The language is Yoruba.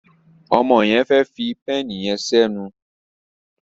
Ọmọ yen fè fí pééni yen sí enu.